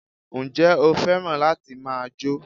Njé o fẹ́ràn láti ma jó?